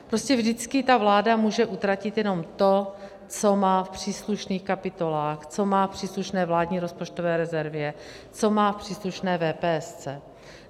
Prostě vždycky ta vláda může utratit jenom to, co má v příslušných kapitolách, co má v příslušné vládní rozpočtové rezervě, co má v příslušné VPS.